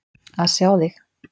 Að sjá þig!